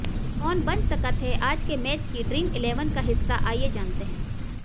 कौन बन सकत हैं आज के मैच की ड्रीम इलेवन का हिस्सा आइए जानते हैं